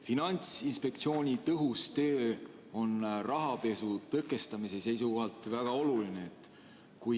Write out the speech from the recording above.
Finantsinspektsiooni tõhus töö on rahapesu tõkestamise seisukohalt väga oluline.